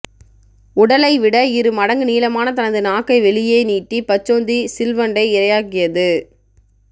உடலைவிட இரு மடங்கு நீளமான தனது நாக்கை வெளியே நீட்டி பச்சோந்தி சிள் வண்டை இரையாக்கியது